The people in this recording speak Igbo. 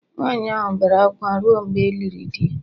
nwaanyị ahụ bere akwa ruo mgbe e liri di